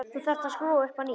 Þá þarf að skúra upp á nýtt.